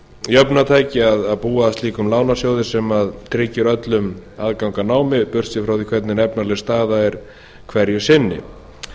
jöfnunartæki að búa að slíkum lánasjóði sem tryggir öllum aðgang að námi burtséð frá því hvernig efnaleg staða er hverju sinni